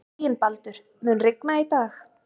Reginbaldur, mun rigna í dag?